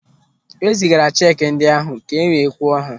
E zigara cheki ndị ahụ ka enwee kwụọ ha.